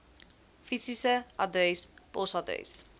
fisiese adres posadres